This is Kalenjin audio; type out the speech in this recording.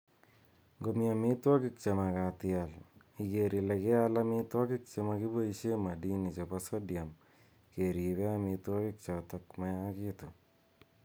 Ngomii aamitwogik chemagaat ial. iger ile keal chemaginoishe madini chepo sodiam keripe amitwogik chotok mayagitu.